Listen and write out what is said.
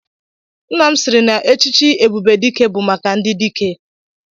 Nna m sịịrị na echichi Ebubedike bụ maka ndị dike.